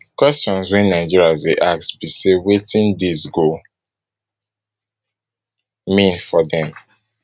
questions wey nigerians dey ask be say wetin dis go mean for dem